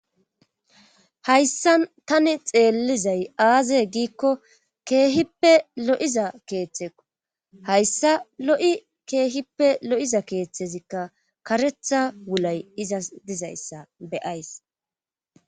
Hayssa tani xeellizay aaze giikko keehippe lo7iza keeththeqo hayssa lo7i keehippe lo7iza keeththezikka karetha wulay iza dizayssa beyays